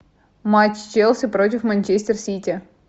матч челси против манчестер сити